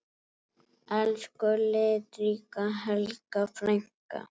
Elsku litríka Helga frænka.